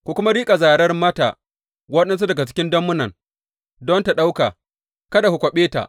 Ku kuma riƙa zarar mata waɗansu daga dammunan don ta ɗauka, kada ku kwaɓe ta.